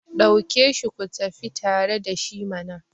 dauke shi ku tafi tare da shi mana!